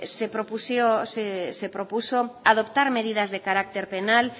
se propuso adoptar medidas de carácter penal